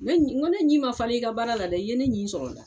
Ne ni na ko ne ɲi ma falen i ka baara la dɛ, i ye ne ɲin sɔrɔ n da.